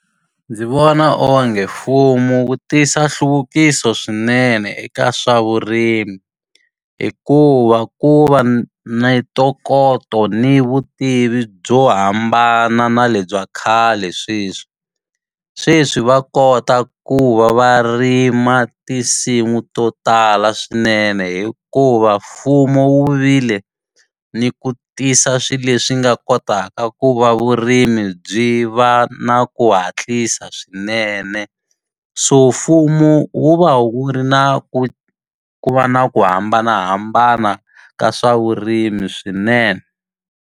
Ndzi vona onge mfumo wu tisa nhluvukiso swinene eka swa vurimi, hikuva ku va na ntokoto ni vutivi byo hambana na lebya khale sweswi. Sweswi va kota ku va va rima tinsimu to tala swinene hikuva mfumo wu vile ni ku tisa swilo leswi nga kotaka ku va vurimi mi byi va na ku hatlisa swinene. So mfumo wu va wu ri na ku ku va na ku hambanahambana ka swa vurimi swinene.